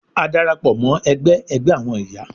A darapọ mọ ẹgbẹ ẹgbẹ awọn iya